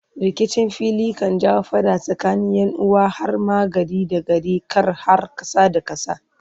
rikicin fili kan jawo fada tsakanin yanuwa har ma gari da gari kar har kasa da kasa